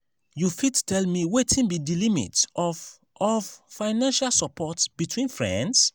you fit tell me wetin be di limit of of financial support between friends?